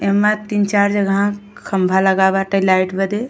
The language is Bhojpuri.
एमा तीन चार जगह खंभा लगा बाटे लाइट बदे।